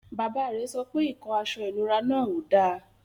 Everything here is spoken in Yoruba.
Bàbá rẹ̀ sọ pé ikó àṣọ ìnúrà náà ó dá.